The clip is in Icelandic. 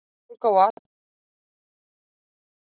Verðbólga og atvinnuleysi jukust í Tékklandi